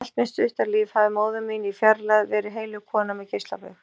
Allt mitt stutta líf hafði móðir mín í fjarlægð verið heilög kona með geislabaug.